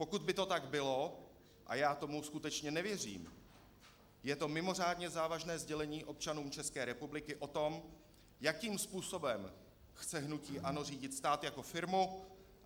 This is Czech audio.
Pokud by to tak bylo - a já tomu skutečně nevěřím - je to mimořádně závažné sdělení občanům České republiky o tom, jakým způsobem chce hnutí ANO řídit stát jako firmu.